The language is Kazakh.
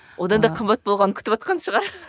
одан да қымбат болғанын күтіватқан шығар